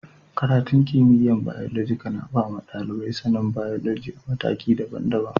Karatun kimiyya'n Biyolojika na ba ma dalibai sani'n biyoloji a'matakin dabban-dabban.